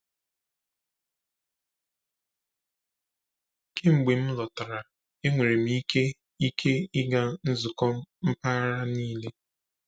Kemgbe m lọtara, enwere m ike ike ịga nzukọ mpaghara niile.